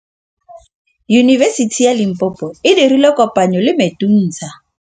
Yunibesiti ya Limpopo e dirile kopanyô le MEDUNSA.